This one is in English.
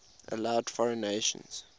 allowed foreign nations